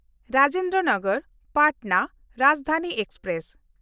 Rajendra Nagar Patna Rajdhani express